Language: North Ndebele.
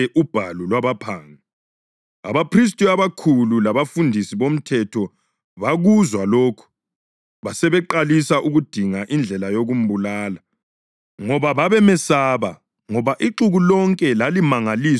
Abaphristi abakhulu labafundisi bomthetho bakuzwa lokhu basebeqalisa ukudinga indlela yokumbulala, ngoba babemesaba ngoba ixuku lonke lalimangaliswa yikufundisa kwakhe.